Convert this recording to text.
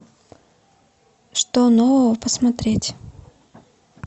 что нового посмотреть